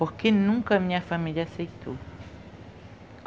Porque nunca a minha família aceitou.